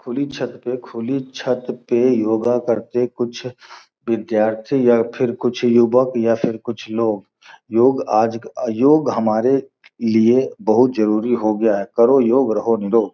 खुली छत पर खुली छत के योगा करते कुछ विद्यार्थी या फिर कुछ युवक या फिर कुछ लोग योग आज क योग हमारे लिए बहुत ज़रूरी हो गया हैं करो योग रहो निरोग।